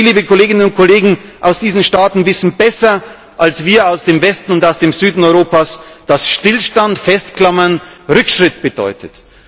Sie, liebe Kolleginnen und Kollegen aus diesen Staaten, wissen besser als wir aus dem Westen und aus dem Süden Europas, dass Stillstand und Festklammern Rückschritt bedeutet.